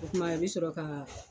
O tuma i bɛ sɔrɔ ka